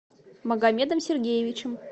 магомедом сергеевичем